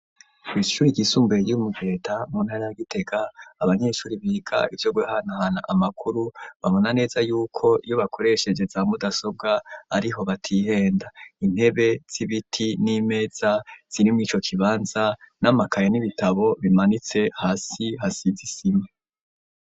Ishuri ryisumbuye ryo mu Giheta mu ntara ya Gitega abanyeshuri biga ivyo guhanahana amakuru babona neza yuko iyo bakoresheje za mudasobwa ariho batihenda, intebe z'ibiti n'imeza ziri mw'ico kibanza n'amakaye, n'ibitabo bimanitse, hasi hasize isima.